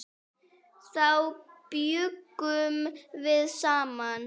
Þá bjuggum við saman.